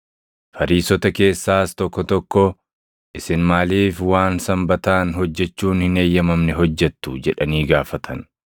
Fariisota keessaas tokko tokko, “Isin maaliif waan Sanbataan hojjechuun hin eeyyamamne hojjettu?” jedhanii gaafatan.